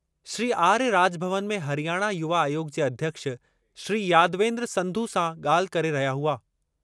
श्री आर्य राजभवन में हरियाणा युवा आयोग जे अध्यक्ष श्री यादवेन्द्र संधु सां ॻाल्हि करे रहिया हुआ।